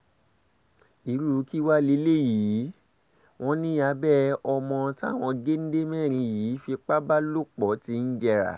irú kí wàá lélẹ́yìí wọn ni abẹ́ ọmọ táwọn géńdé mẹ́rin yìí fipá bá lò pọ̀ ti ń jẹrà